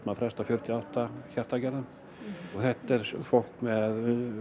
að fresta fjörutíu og átta hjartaaðgerðum þetta er fólk með